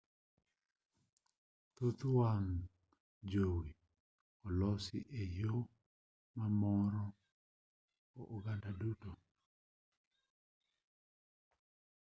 thoth wang' jowi olosi e yo mamoro oganda duto